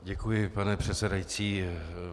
Děkuji, pane předsedající.